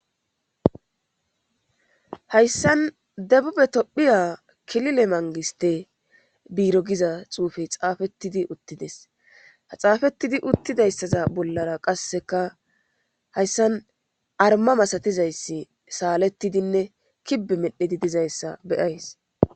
hayssan debube tophiya kilile mangiste biiro giza xuufey xaafettidi uttides ha xaafettidi uttidayssaza bollara qasseka hayssan arma masatizayssi saalettidinne kibbe medhedi dizayssa beyays